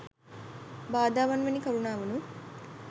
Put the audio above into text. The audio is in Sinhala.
බාධාවන් වැනි කාරණාවනුත්